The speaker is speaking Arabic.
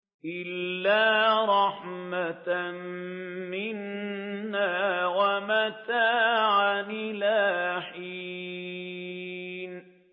إِلَّا رَحْمَةً مِّنَّا وَمَتَاعًا إِلَىٰ حِينٍ